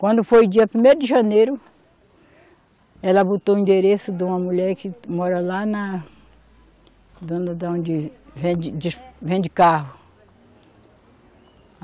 Quando foi o dia primeiro de janeiro, ela botou o endereço de uma mulher que mora lá na dona da onde vende, vende carro.